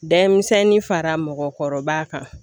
Dɛmisɛnnin fara mɔgɔkɔrɔba kan